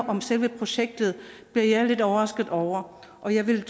om selve projektet det er jeg lidt overrasket over og jeg ville